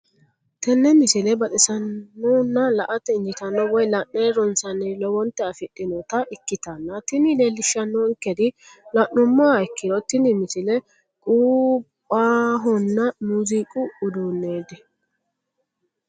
tenne misile baxisannonna la"ate injiitanno woy la'ne ronsannire lowote afidhinota ikkitanna tini leellishshannonkeri la'nummoha ikkiro tini misile qumbahonna muuziiqu uduunneeti.